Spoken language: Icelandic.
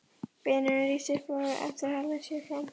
Vinurinn rís upp úr aftursætinu, hallar sér fram.